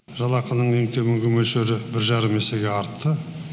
жалақының ең төменгі мөлшері бір жарым есеге артты